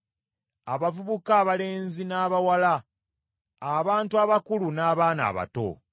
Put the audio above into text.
abavubuka abalenzi n’abawala; abantu abakulu n’abaana abato.